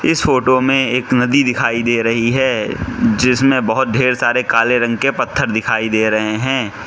इस फोटो मे एक नदी दिखाई दे रही है जिसमें बहोत ढेर सारे काले रंग के पत्थर दिखाई दे रहे है।